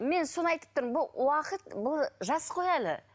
мен соны айтып тұрмын бұл уақыт бұл жас қой әлі